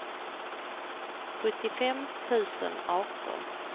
sjuttiofem tusen arton